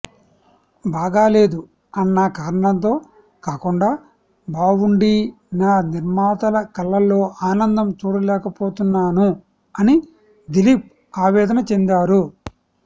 బాగాలేదు అన్న కారణంతో కాకుండా బావుండీ నా నిర్మాతల కళ్లలో ఆనందం చూడలేకపోతున్నాను అని దిలీప్ ఆవేదన చెందారు